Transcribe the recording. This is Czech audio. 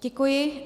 Děkuji.